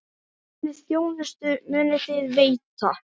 Hvernig þjónustu munuð þið veita?